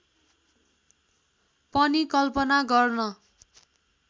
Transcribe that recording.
पनि कल्पना गर्न